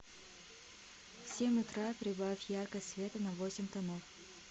в семь утра прибавь яркость света на восемь тонов